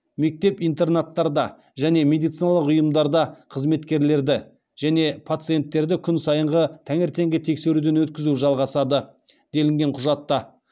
мектеп интернаттарда және медициналық ұйымдарда қызметкерлерді және пациенттерді күн сайынғы таңертеңгі тексеруден өткізу жалғасады делінген құжатта